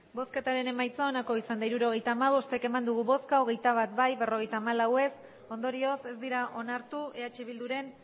hirurogeita hamabost eman dugu bozka hogeita bat bai berrogeita hamalau ez ondorioz ez dira onartu eh bilduren